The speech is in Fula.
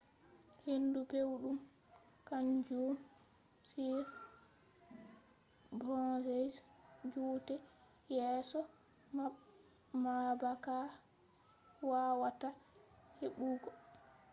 hendu pewɗum kaanjum on tan joote yeeso maɓɓaka wawata heɓɓugo